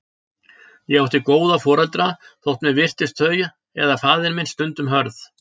Ég átti góða foreldra, þótt mér virtist þau eða faðir minn stundum hörð.